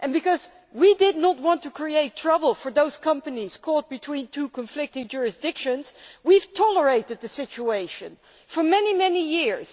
Because we did not want to make trouble for those companies caught between two conflicting jurisdictions, we have tolerated the situation for many years.